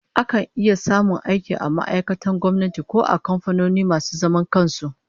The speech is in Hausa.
Akan samu aiki ko a ma'aikatun gwamnati ko a kamfanoni masu zaman kan su